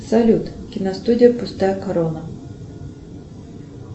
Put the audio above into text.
салют киностудия пустая корона